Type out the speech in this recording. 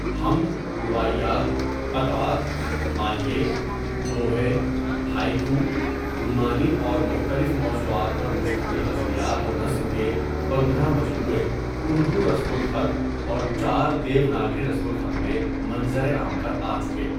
حمد، رباعیات، قطعات، ماہیٔے، دوہے، ہایٔکو، رومانی اور مختلف موضوعات پر مشتمل غزلیات و نظم کے پندرہ مجموعے اردو رسم الخط اور چار دیو ناگری رسم الخط میں منظر عام پر آ چکے.